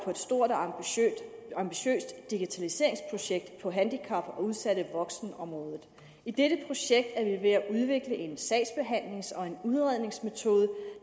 på et stort og ambitiøst digitaliseringsprojekt på handicap og udsatte voksne området i dette projekt er vi ved at udvikle en sagsbehandlings og en udredningsmetode